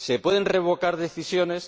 ¿Se pueden revocar decisiones?